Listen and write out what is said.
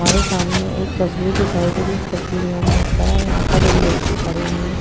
हमारे सामने एक तस्वीर दिखाई दे रही है। इस तस्वीर में हम देख पा रहे है यहाँ पर एक व्यक्ति खड़े हुए है।